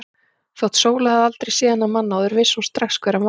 Þótt Sóla hefði aldrei séð þennan mann áður vissi hún strax hver hann var.